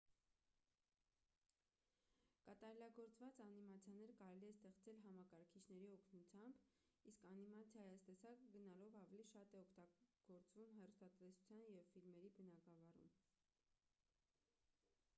կատարելագործված անիմացիաներ կարելի է ստեղծել համակարգիչների օգնությամբ իսկ անիմացիայի այս տեսակը գնալով ավելի շատ է օգտագործվում հեռուստատեսության ու ֆիլմերի բնագավառում